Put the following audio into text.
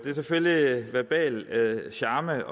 selvfølgelig en verbal charme